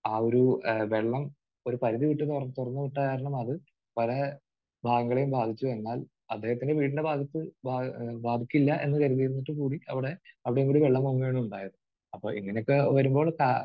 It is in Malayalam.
ആ ഒരു വെള്ളം ഒരു പരുധി വിട്ട് തുറന്ന് വിട്ടത് കാരണം അത് പല ഭാഗങ്ങളെയും ബാധിച്ചു. എന്നാൽ അദ്ദേഹത്തിന്റെ വീടിന്റെ ഭാഗത്ത് ബ...ബാധിക്കില്ല എന്ന് കരുതിയിരുന്നിട്ടു കൂടി അവിടെ അവിടെ വരെ വെള്ളം പൊങ്ങുകയാണ് ഉണ്ടായത്. അപ്പോൾ ഇങ്ങനെയൊക്കെ വരുമ്പോൾ കാ